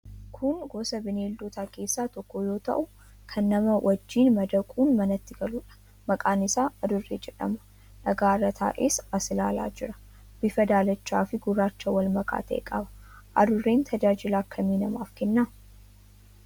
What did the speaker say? Kun gosa bineeldotaa keessaa tokko yoo ta'u, kan namaa wajjin madaquun manatti galuudha. Maqaan isaa adurree jedhama. Dhagaa irra taa'ee as ilaalee jira. Bifa daalachaafi gurraacha wal makaa ta'e qaba. Adurreen tajaajila akkamii namaaf kenna?